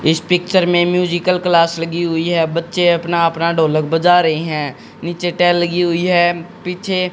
इस पिक्चर में musical class लगी हुई है बच्चे अपना अपना ढोलक बजा रहे हैं नीचे टैल लगी हुई है पीछे--